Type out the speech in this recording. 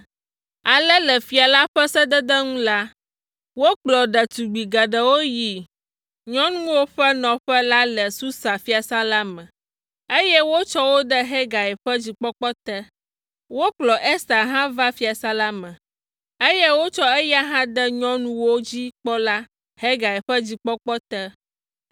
Ale le fia la ƒe sedede nu la, wokplɔ ɖetugbi geɖewo yi nyɔnuwo ƒe nɔƒe la le Susa fiasã la me, eye wotsɔ wo de Hegai ƒe dzikpɔkpɔ te. Wokplɔ Ester hã va fiasã la me, eye wotsɔ eya hã de nyɔnuwo dzi kpɔla, Hegai ƒe dzikpɔkpɔ te.